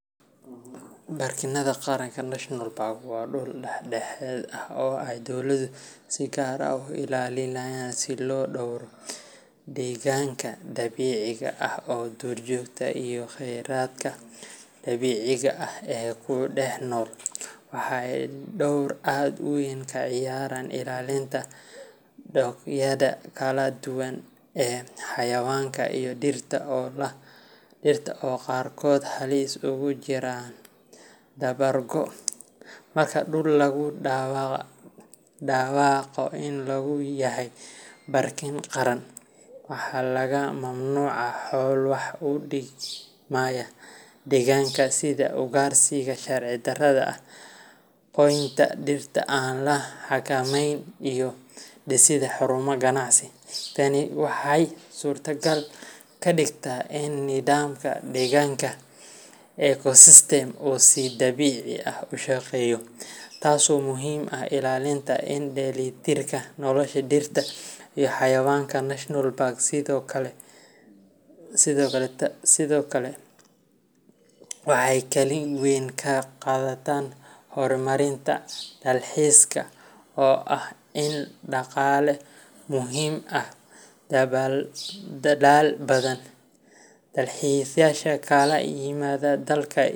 Baarkinnada qaranka National Parks waa dhul dhedhexaad ah oo ay dowladuhu si gaar ah u ilaaliyaan si loo dhowro deegaanka dabiiciga ah, duurjoogta, iyo khayraadka dabiiciga ah ee ku dhex nool. Waxa ay door aad u weyn ka ciyaaraan ilaalinta noocyada kala duwan ee xayawaanka iyo dhirta oo qaarkood halis ugu jira dabar goo ah. Marka dhul lagu dhawaaqo inuu yahay baarkin qaran, waxaa laga mamnuucaa howlo wax u dhimaya deegaanka sida ugaarsiga sharci darrada ah, goynta dhirta aan la xakameyn, iyo dhisidda xarumo ganacsi. Tani waxay suurtogal ka dhigtaa in nidaamka deegaanka ecosystem uu si dabiici ah u shaqeeyo, taasoo muhiim u ah ilaalinta is dheelitirka nolosha dhirta iyo xayawaanka. National Parks sidoo kale waxay kaalin weyn ka qaataan horumarinta dalxiiska, oo ah il dhaqaale oo muhiim ah dalal badan. Dalxiisayaasha ka kala yimaada dalka.